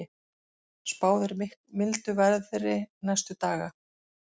Spáð er mildu veðri næstu daga